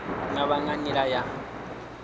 nga vha nga nḓila ya